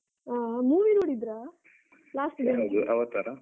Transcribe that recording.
ಆ movie ನೋಡಿದ್ರ?